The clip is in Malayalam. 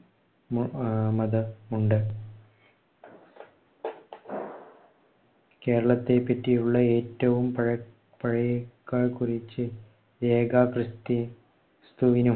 മതമുണ്ട്. കേരളത്തെപറ്റിയുള്ള ഏറ്റവും പഴ പഴയ പഴേക്കാല്‍കുറിച്ച് രേഖാ ക്രിസ്തുവിനും